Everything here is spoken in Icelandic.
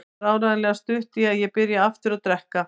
Það var áreiðanlega stutt í að ég byrjaði aftur að drekka.